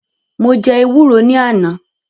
Mo jẹ́ ewúro ní àná